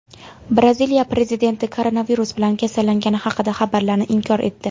Braziliya prezidenti koronavirus bilan kasallangani haqidagi xabarlarni inkor etdi.